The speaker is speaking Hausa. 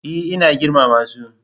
E, ina girmama su.